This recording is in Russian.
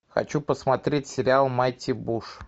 хочу посмотреть сериал майти буш